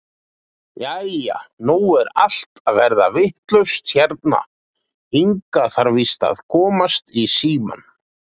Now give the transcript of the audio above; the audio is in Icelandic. Jæja, nú er allt að verða vitlaust hérna, Inga þarf víst að komast í símann.